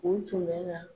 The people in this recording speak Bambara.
U tun bɛ na